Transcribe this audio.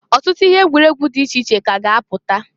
Ọtụtụ ihe egwuregwu di iche iche ka a ga -apụta.